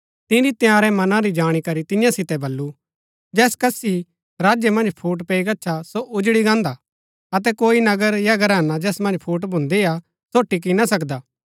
तिनी तंयारै मना री जाणी करी तियां सितै बल्लू जैस कसकि राज्य मन्ज फूट पैई गच्छा सो उजड़ी गान्दा अतै कोई नगर या घराना जैस मन्ज फूट भून्दी हा सो टिक्की ना सकदा